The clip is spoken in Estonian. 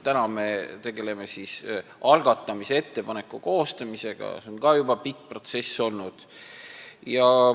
Praegu me tegeleme algatamise ettepaneku koostamisega, mis on ka juba pikk protsess olnud.